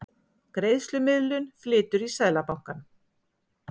Greiðslumiðlun flytur í Seðlabankann